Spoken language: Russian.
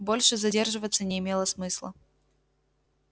больше задерживаться не имело смысла